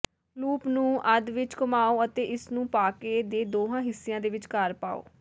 loop ਨੂੰ ਅੱਧ ਵਿਚ ਘੁਮਾਓ ਅਤੇ ਇਸਨੂੰ ਪਾਕੇ ਦੇ ਦੋਹਾਂ ਹਿੱਸਿਆਂ ਦੇ ਵਿਚਕਾਰ ਪਾਓ